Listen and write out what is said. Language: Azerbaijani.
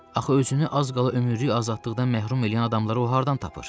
Axı özünü az qala ömürlük azadlıqdan məhrum eləyən adamları o hardan tapır?